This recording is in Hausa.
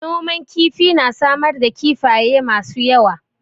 Noman kifi na samar da kifafye masu yawa.